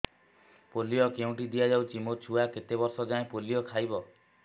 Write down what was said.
polio କେଉଁଠି ଦିଆଯାଉଛି ମୋ ଛୁଆ କେତେ ବର୍ଷ ଯାଏଁ ପୋଲିଓ ଖାଇବ